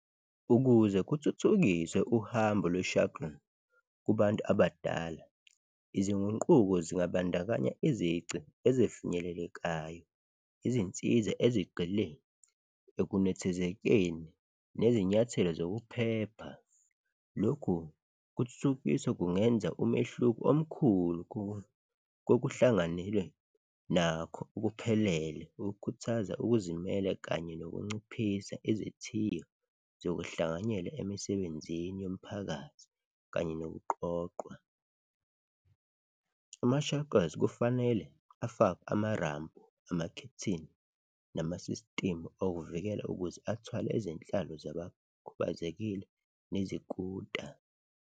Ukuze kuthuthukiswe uhambo lwe-shuttle kubantu abadala, izinguquko zingabandakanya izici ezifinyelelekayo, izinsiza ezigxile ekunethezekeni nezinyathelo zokuphepha. Lokhu kuthuthukiswa kungenza umehluko omkhulu kokuhlanganelwe nakho okuphelele ukukhuthaza ukuzimela kanye nokunciphisa izithiyo zokuhlanganyela emisebenzini yomphakathi kanye nokuqoqwa. Ama-shukles kufanele afakwe amarampu, amakhethini nama-system okuvikela ukuze athwale izihlalo zabakhubazekile nezikuta.